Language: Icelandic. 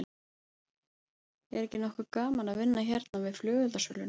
Er ekki nokkuð gaman að vinna hérna við flugeldasöluna?